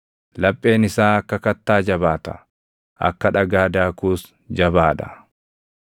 Lapheen isaa akka kattaa jabaata; akka dhagaa daakuus jabaa dha.